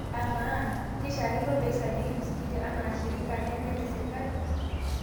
Amaa, keishiakino peisajili msikiti enaa shirika neme ene sirkali?